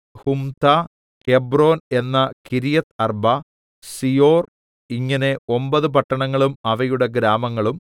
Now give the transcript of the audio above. Humtah Hebron എന്ന Kiriath Arba Zior ഇങ്ങനെ ഒമ്പത് പട്ടണങ്ങളും അവയുടെ ഗ്രാമങ്ങളും